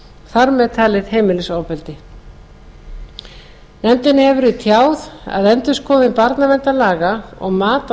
þar með talið heimilisofbeldi nefndinni hefur verið tjáð að endurskoðun barnaverndarlaga og mat á